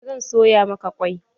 Eh zan soya maka kwai.